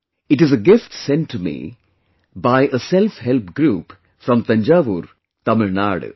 It is a gift sent to me by SelfHelp Group from Thanjavur, Tamil Nadu